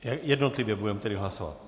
Jednotlivě budeme tedy hlasovat?